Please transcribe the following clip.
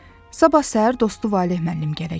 Sabah səhər dostu Valeh müəllim gələcəkdi.